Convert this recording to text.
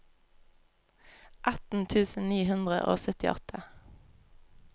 atten tusen ni hundre og syttiåtte